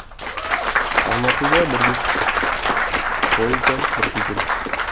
алматыдан бірге шықтық поезда бірге келдік